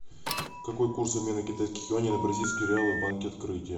какой курс обмена китайских юаней на бразильские реалы в банке открытие